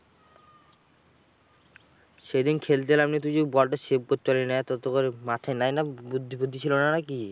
সেদিন খেলতে নামলি তুই যে বলটা save করতে পারলিনা তোরতো মাথায় নেয় না বুদ্ধি ফুদ্দি ছিল না নাকি?